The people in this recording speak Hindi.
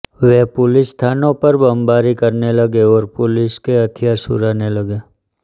वे पुलिस थानों पर बमबारी करने लगे और पुलिस के हथियार चुराने लगे